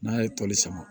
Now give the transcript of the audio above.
N'a ye tɔli sama